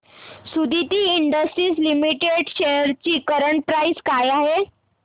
Suditi industries limited shares ची current price काय आहे